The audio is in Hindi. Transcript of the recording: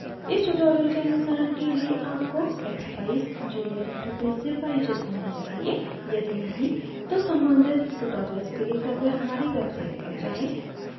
इस tutorial के अनुसरण के लिए आपको expeyes junior interface से परिचित होना चाहिए यदि नहीं तो सम्बंधित tutorials के लिए कृपया हमारी website पर जाएँ